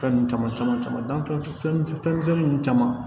Fɛn ninnu caman caman fɛn fɛn misɛnnin ninnu caman